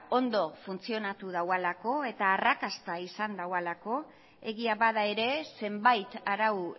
ondo funtzionatu daualako eta arrakasta izan daualako egia bada ere zenbait arau